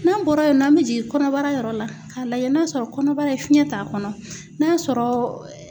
N'an bɔra yen nɔ, an bɛ jigin kɔnɔbara yɔrɔ la, k'a lajɛ n'a sɔrɔ kɔnɔbara in fiɲɛ t'a kɔnɔ, n'a sɔrɔ